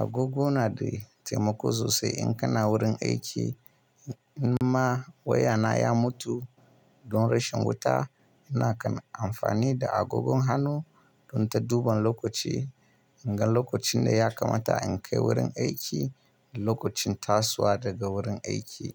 agogo nada taimako sosai in kana warin aiki. In ma waya na ya mutu don rashin wuta, nakan amfani da agogon hannu don ta duban lokaci, in ga lokacin da ya kamata in kai wurin aiki da lokacin tasowa daga wurin aiki.